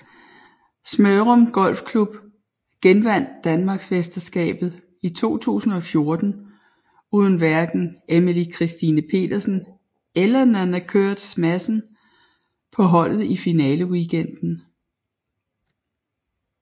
Smørum Golfklub genvandt Danmarksmesterskabet i 2014 uden hverken Emily Kristine Pedersen eller Nanna Koerstz Madsen på holdet i finaleweekenden